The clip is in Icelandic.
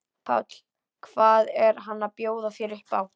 Páll: Hvað er hann að bjóða þér upp á?